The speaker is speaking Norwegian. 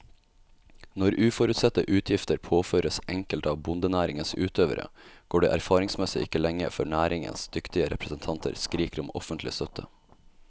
Når uforutsette utgifter påføres enkelte av bondenæringens utøvere, går det erfaringsmessig ikke lenge før næringens dyktige representanter skriker om offentlig støtte.